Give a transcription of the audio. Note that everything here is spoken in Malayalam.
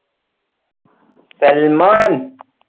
സൽമാൻ